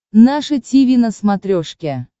наше тиви на смотрешке